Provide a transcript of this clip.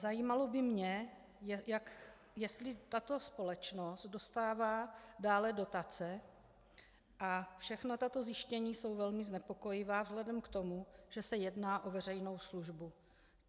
Zajímalo by mě, jestli tato společnost dostává dále dotace, a všechna tato zjištění jsou velmi znepokojivá vzhledem k tomu, že se jedná o veřejnou službu.